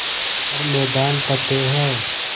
हर मैदान फ़तेह